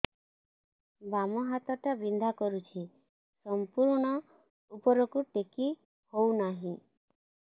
ବାମ ହାତ ଟା ବିନ୍ଧା କରୁଛି ସମ୍ପୂର୍ଣ ଉପରକୁ ଟେକି ହୋଉନାହିଁ